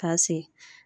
K'a se